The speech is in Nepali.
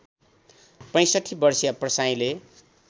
६५ वर्षीय प्रसाईँले